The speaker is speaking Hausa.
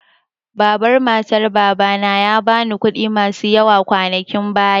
Baban matar Baba na ya ba ni kuɗi masu yawa kwanakin baya.